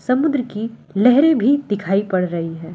समुद्र की लहरे मे दिखाई पड़ रही है।